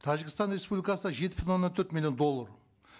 тәжікстан республикасына жетпіс мың он төрт мллион доллар